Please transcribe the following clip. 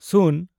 ᱥᱩᱱ